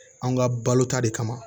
An ka balo ta de kama